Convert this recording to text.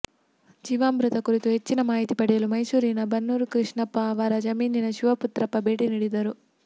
ಜೀವಾಮೃತ ಕುರಿತು ಹೆಚ್ಚಿನ ಮಾಹಿತಿ ಪಡೆಯಲು ಮೈಸೂರಿನ ಬನ್ನೂರು ಕೃಷ್ಣಪ್ಪ ಅವರ ಜಮೀನಿಗೆ ಶಿವಪುತ್ರಪ್ಪ ಭೇಟಿ ನೀಡಿದ್ದರು